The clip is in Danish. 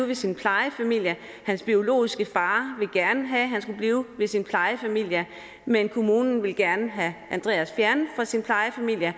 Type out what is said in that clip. ved sin plejefamilie hans biologiske far ville gerne have han skulle blive ved sin plejefamilie men kommunen ville gerne have andreas fjernet fra sin plejefamilie